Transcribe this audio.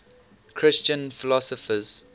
christian philosophers